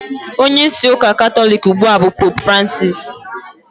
Onyeisi ụka Katọlik ugbua bụ Poopu Francisi